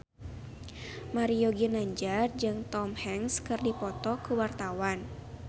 Mario Ginanjar jeung Tom Hanks keur dipoto ku wartawan